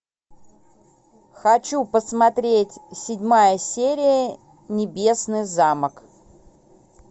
хочу посмотреть седьмая серия небесный замок